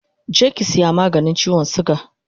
Je ki saya maganin chiwon suga